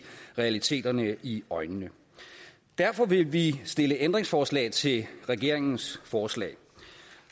realiteterne i øjnene derfor vil vi stille ændringsforslag til regeringens forslag